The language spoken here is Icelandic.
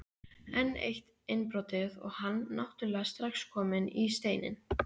Enn eitt innbrotið og hann náttúrulega strax kominn í Steininn.